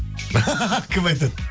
кім айтады